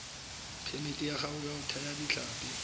phemiti ya go thaya ditlhapi